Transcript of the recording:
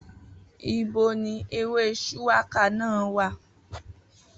Ibo ni ewé shuwaka náà wà?